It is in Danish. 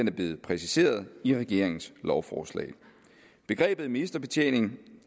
er blevet præciseret i regeringens lovforslag begrebet ministerbetjening